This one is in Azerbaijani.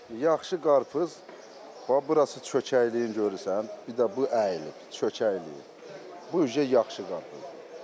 Bax, yaxşı qarpız bax burası çökəkliyini görürsən, bir də bu əyilib, çökəkliyib, bu artıq yaxşı qarpızdır.